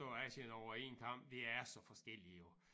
Slå Asien over én kam det er så forskelligt jo